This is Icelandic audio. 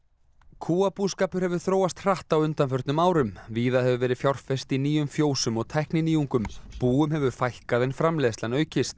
kúabúskapur hefur þróast hratt á undanförnum árum víða hefur verið fjárfest í nýjum fjósum og tækninýjungum búum hefur fækkað en framleiðslan aukist